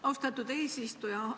Austatud eesistuja!